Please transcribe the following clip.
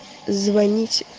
звоните